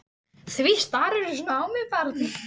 Því starirðu svona á mig barn?